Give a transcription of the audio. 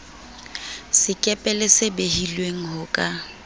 sekepele se behilweng ho ka